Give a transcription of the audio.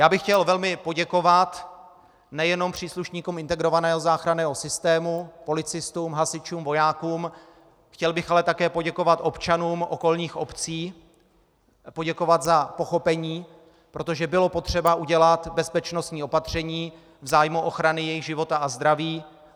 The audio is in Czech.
Já bych chtěl velmi poděkovat nejenom příslušníkům integrovaného záchranného systému, policistům, hasičům, vojákům, chtěl bych ale také poděkovat občanům okolních obcí, poděkovat za pochopení, protože bylo potřeba udělat bezpečnostní opatření v zájmu ochrany jejich života a zdraví.